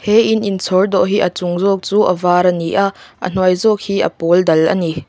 he in in chhawr dawh hi a chung zawk chu a var a ni a a hnuai zawk hi a pawl dal a ni.